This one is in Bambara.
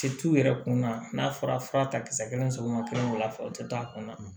yɛrɛ kun na n'a fɔra fura ta kisɛ kelen sɔgɔma kelen wula fɛ u te taa a kun na